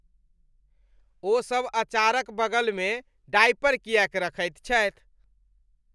ओसभ अचारक बगलमे डायपर किएक रखैत छथि?